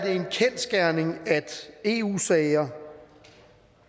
en kendsgerning at eu sager